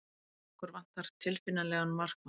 Okkur vantar tilfinnanlega markmann.